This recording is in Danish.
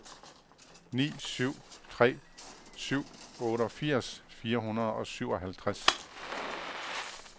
ni syv tre syv otteogfirs fire hundrede og syvoghalvtreds